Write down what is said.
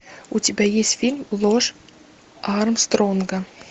у тебя есть фильм ложь армстронга